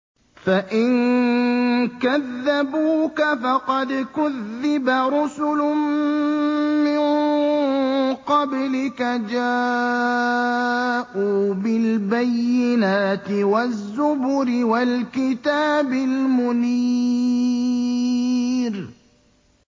فَإِن كَذَّبُوكَ فَقَدْ كُذِّبَ رُسُلٌ مِّن قَبْلِكَ جَاءُوا بِالْبَيِّنَاتِ وَالزُّبُرِ وَالْكِتَابِ الْمُنِيرِ